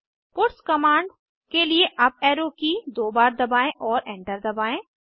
puts command के लिए up arrow की दो बार दबाएं और एंटर दबाएं